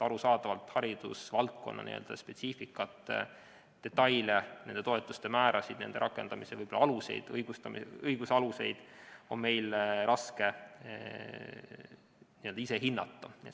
Arusaadavalt haridusvaldkonna spetsiifikat, detaile, toetuste määrasid ja nende rakendamise õiguslikke aluseid on meil raske ise hinnata.